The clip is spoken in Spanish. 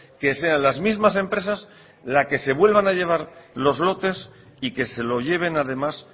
que sean las mismas empresas la que se vuelva a llevar los lotes y que se lo lleven además